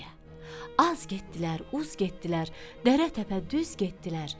Az getdilər, uz getdilər, dərə təpə düz getdilər.